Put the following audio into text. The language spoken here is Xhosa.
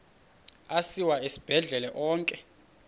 asiwa esibhedlele onke